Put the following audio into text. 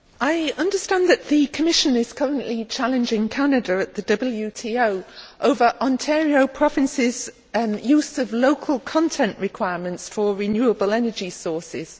Mr President, I understand that the Commission is currently challenging Canada at the WTO over Ontario Province's use of local content requirements for renewable energy sources.